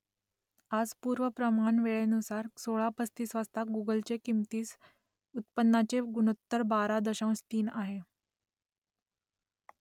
आज पूर्व प्रमाण वेळेनुसार सोळा पस्तीस वाजता गुगलचे किंमतीस उत्पन्नाचे गुणोत्तर बारा दशांश तीन आहे